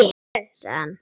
Sjáðu, sagði hann.